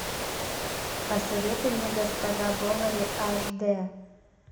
посоветуй мне госпожа бовари аш д